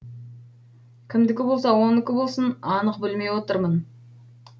кімдікі болса оныкі болсын анық білмей отырмын